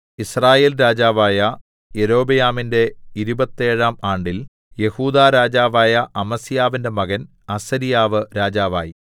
യിസ്രായേൽ രാജാവായ യൊരോബെയാമിന്റെ ഇരുപത്തേഴാം ആണ്ടിൽ യെഹൂദാ രാജാവായ അമസ്യാവിന്റെ മകൻ അസര്യാവ് രാജാവായി